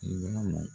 I b'a ye